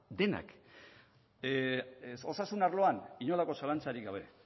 denak osasun arloan inolako zalantzarik gabe